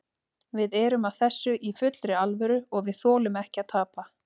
Við erum að þessu í fullri alvöru og við þolum ekki að tapa.